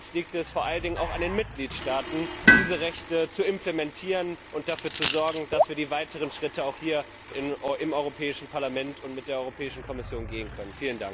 Und jetzt liegt es vor allen Dingen an den Mitgliedstaaten, diese Rechte zu implementieren und dafür zu sorgen, dass wir die weiteren Schritte auch hier im Europäischen Parlament und mit der Kommission gehen können.